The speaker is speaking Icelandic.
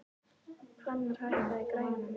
Hvannar, hækkaðu í græjunum.